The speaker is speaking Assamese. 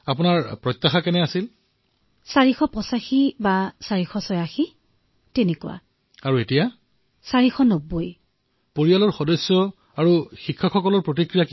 আচ্ছা আপোনাৰ উচ্চতা অধিক নেকি